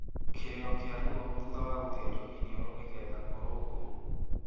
Kĩrĩro kĩa ruo thutha wa gũthĩnjwo iniũrũ nĩgetha kũrũngwo